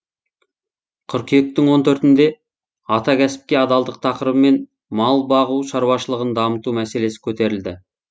қыркүйектің он төртінде ата кәсіпке адалдық тақырыбымен мал бағу шаруашылығын дамыту мәселесі көтерілді